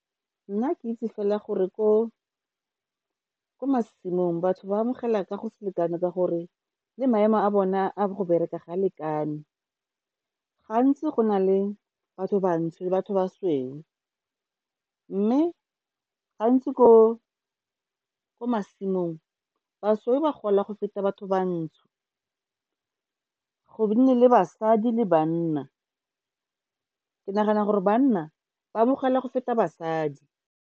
Nna ke itse fela gore ko masimong batho ba amogela ka go selekane ka gore le maemo a bone a go bereka ga a lekane. Gantsi go na le batho bantsho le batho basweu, mme gantsi ko masimong basweu ba gola go feta batho bantsho. Go nne le basadi le banna, ke nagana gore banna ba amogela go feta basadi.